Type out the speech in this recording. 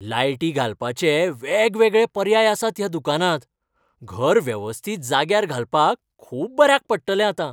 लायटी घालपाचे वेगवेगळे पर्याय आसात ह्या दुकानांत. घर वेवस्थीत जाग्यार घालपाक खूब बऱ्याक पडटलें आतां.